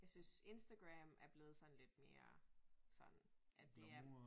Jeg synes Instagram er blevet sådan lidt mere sådan at det er